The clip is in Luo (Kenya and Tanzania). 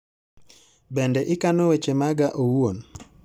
Bende ikano weche maga owuon